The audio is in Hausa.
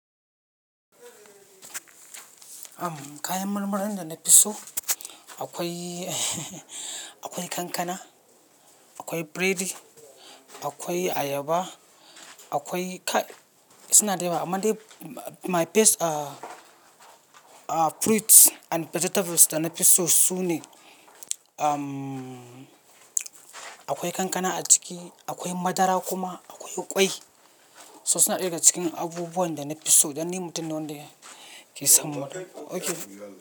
Am, kayan marmarin da na fi so, akwai akwai kankana, akwai biredi, akwai ayaba, akwai kai suna da yawa. Amma dai my best ah, ah, fruits and vegetables da na fi so sune am, akwai kankana a ciki, akwai madara kuma akwai ƙwai. So suna ɗaya daga cikin abubuwan da na fi so dan ni mutum nai wanda ke son. Okay.